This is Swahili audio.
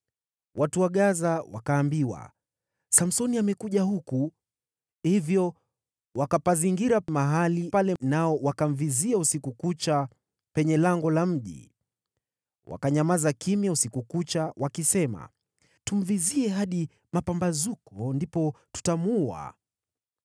Watu wa Gaza wakaambiwa, “Samsoni amekuja huku!” Hivyo wakapazingira mahali pale nao wakamvizia usiku kucha, penye lango la mji. Wakanyamaza kimya usiku kucha, wakisema, “Tumvizie hadi mapambazuko, ndipo tutamuua.”